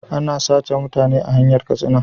Ana sace mutane a hanyar katsina